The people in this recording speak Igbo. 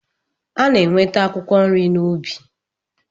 A na-enweta akwụkwọ nri n'ubi.